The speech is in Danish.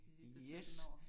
Yes!